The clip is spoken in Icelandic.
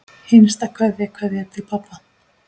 HINSTA KVEÐJA Kveðja til pabba.